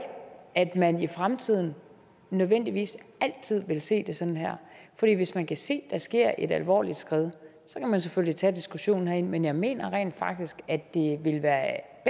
at man i fremtiden nødvendigvis altid vil se det sådan her for hvis man kan se der sker et alvorligt skred kan man selvfølgelig tage diskussionen herinde men jeg mener rent faktisk at det ville være